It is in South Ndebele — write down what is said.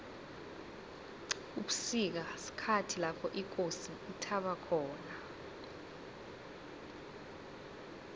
ubusika sikhathi lapho ikosi ithaba khona